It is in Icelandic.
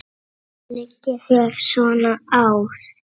Hvað liggur þér svona á?